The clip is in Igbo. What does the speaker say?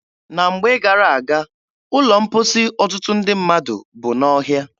Na mgbe gara-aga, ụlọ mposi ọtụtụ ndị mmadụ bụ n'ọhịa.